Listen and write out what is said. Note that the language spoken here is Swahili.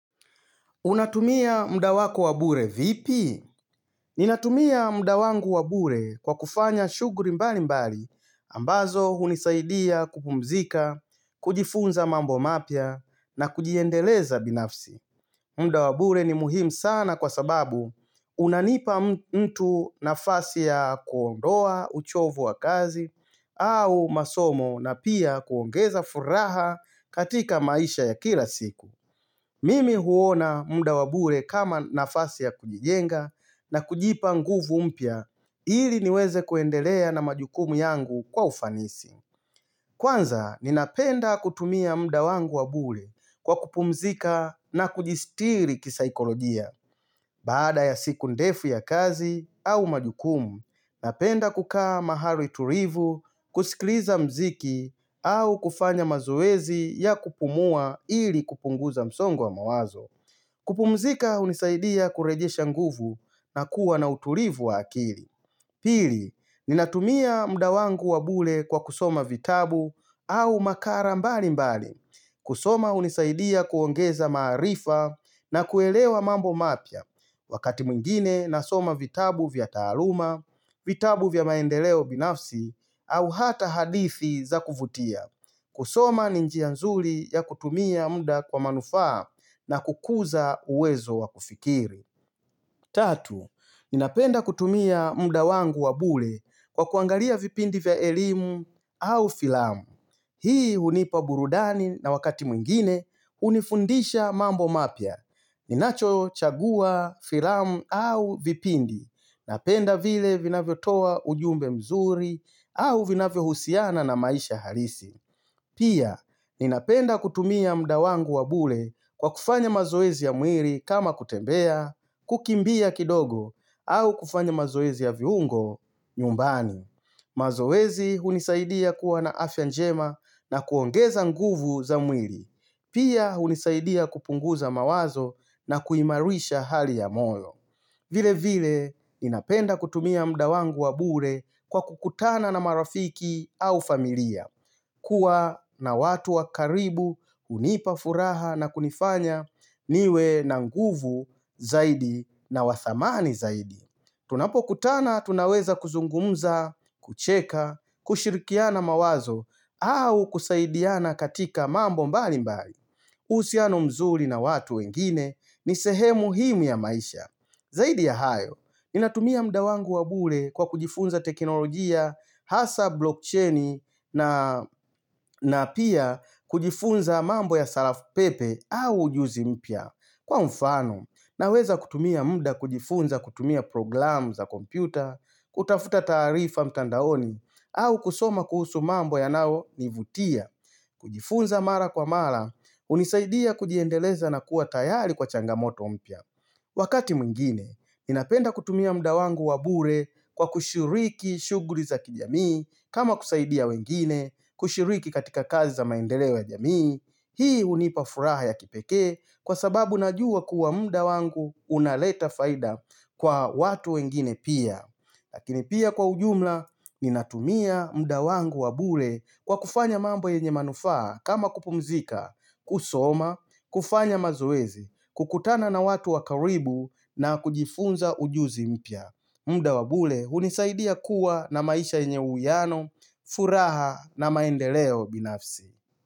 Unatumia mda wako wabure vipi? Ninatumia mda wangu wabure kwa kufanya shuguri mbali mbali ambazo hunisaidia kupumzika, kujifunza mambo mapya na kujiendeleza binafsi. Mda wabure ni muhimu sana kwa sababu unanipa mtu nafasi ya kuondoa uchovu wa kazi au masomo na pia kuongeza furaha katika maisha ya kila siku. Mimi huona mda wabure kama nafasi ya kujijenga na kujipa nguvu mpya ili niweze kuendelea na majukumu yangu kwa ufanisi. Kwanza, ninapenda kutumia mda wangu wabure kwa kupumzika na kujistiri kisaikolojia. Baada ya siku ndefu ya kazi au majukumu, napenda kukaa mahali turivu, kusikliza mziki au kufanya mazoezi ya kupumua ili kupunguza msongo wa mawazo. Kupumzika hunisaidia kurejesha nguvu na kuwa na utulivu wa akili. Pili, ninatumia mda wangu wabule kwa kusoma vitabu au makara mbali mbali. Kusoma unisaidia kuongeza maarifa na kuelewa mambo mapya wakati mwingine na soma vitabu vya taaluma, vitabu vya maendeleo binafsi, au hata hadithi za kuvutia. Kusoma ninjia nzuli ya kutumia mda kwa manufaa na kukuza uwezo wakufikiri. Tatu, ninapenda kutumia mda wangu wabule kwa kuangalia vipindi vya elimu au filamu. Hii hunipa burudani na wakati mwingine unifundisha mambo mapya. Ninacho chagua filamu au vipindi. Napenda vile vina vyo toa ujumbe mzuri au vina vyo husiana na maisha harisi. Pia, ninapenda kutumia mda wangu wabule kwa kufanya mazoezi ya mwiri kama kutembea, kukimbia kidogo, au kufanya mazoezi ya viungo nyumbani. Mazoezi hunisaidia kuwa na afyanjema na kuongeza nguvu za mwiri. Pia, hunisaidia kupunguza mawazo na kuimarisha hali ya moyo. Vile vile, ninapenda kutumia mda wangu wabure kwa kukutana na marafiki au familia, kuwa na watu wakaribu unipa furaha na kunifanya niwe na nguvu zaidi na wathamani zaidi. Tunapo kutana, tunaweza kuzungumza, kucheka, kushirikiana mawazo au kusaidiana katika mambo mbali mbali. Usiano mzuri na watu wengine, nisehemu himu ya maisha. Zaidi ya hayo, ninatumia mda wangu wabule kwa kujifunza teknolojia, hasa blockchaini na napia kujifunza mambo ya salafu pepe au ujuzi mpya. Kwa mfano, naweza kutumia mda kujifunza kutumia program za kompyuta, kutafuta taarifa mtandaoni, au kusoma kuhusu mambo ya nao nivutia. Kujifunza mara kwa mara, unisaidia kujiendeleza na kuwa tayari kwa changamoto mpya Wakati mwingine, ninapenda kutumia mda wangu wabure kwa kushiriki shuguri za kijamii kama kusaidia wengine, kushiriki katika kazi za maendeleo ya jamii Hii hunipafuraha ya kipekee kwa sababu najua kuwa mda wangu unaleta faida kwa watu wengine pia Lakini pia kwa ujumla, ninatumia mda wangu wabule kwa kufanya mambo yenye manufaa kama kupumzika, kusoma, kufanya mazoezi, kukutana na watu wakaribu na kujifunza ujuzi mpya. Mda wabule, hunisaidia kuwa na maisha yenye uwiano, furaha na maendeleo binafsi.